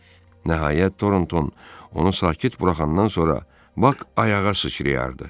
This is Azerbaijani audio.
Nəhayət, Toronton onu sakit buraxandan sonra Bak ayağa sıçrıyırdı.